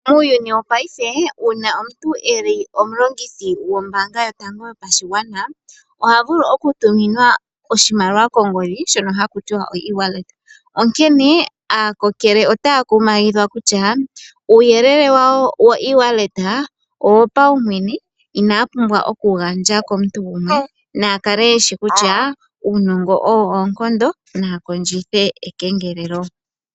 Muuyuni wongashingeyi uuna omuntu eli omulongithi gombaanga yotango yopashigwana oha vulu okutuminwa oshimaliwa kongodhi shono hakutiwa oEwallet. Onkene aakokele otaya kumagidhwa kutya uuyelele wawo woEwallet owopaumwene inaya pumbwa okuwugandja komuntu gumwe nayakale yeshi kutya uunongo owo oonkondo naya kondjithe ekengelelo.